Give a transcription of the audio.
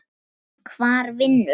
Hvar vinnur hann?